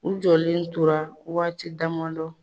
U jɔlen tora waati damadɔ